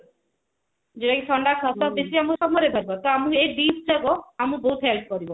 ଥଣ୍ଡା କଫ ବେଶୀ ଆମକୁ summer ରେ ହିଁ ଧରିବ ତ ଆମକୁ ଏଇ dish ଗୁଡାକ ଆମକୁ ବହୁତ help କରିବ